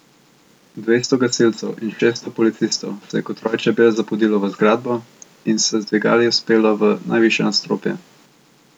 Dvesto gasilcev in šeststo policistov se je kot roj čebel zapodilo v zgradbo in se z dvigali vzpelo v najvišja nadstropja.